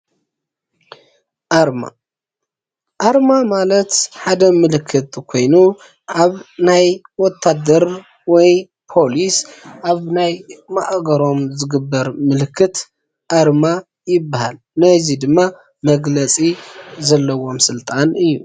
ኣርማ ፤ ኣርማ ማለት ሓደ ምልክት ኮይኑ ኣብ ናይ ወታደር ወይ ፖሊስ አብናይ ማእገሮም ዝግበር ምልክት ኣርማ ይበሃል። ነዙይ ድማ መግለፂ ዘለዎም ስልጣን እዩ።